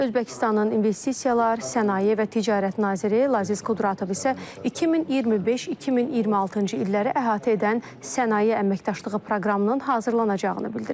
Özbəkistanın investisiyalar, sənaye və ticarət naziri Laziz Qudratov isə 2025-2026-cı illəri əhatə edən sənaye əməkdaşlığı proqramının hazırlanacağını bildirib.